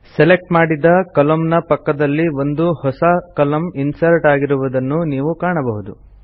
select ಮಾಡಿದ ಕಾಲಮ್ನ ನ ಪಕ್ಕದಲ್ಲಿ ಒಂದು ಹೊಸ ಕಾಲಮ್ನ ಇನ್ಸರ್ಟ್ ಆಗಿರುವುದನ್ನು ಈಗ ನೀವು ಕಾಣಬಹುದು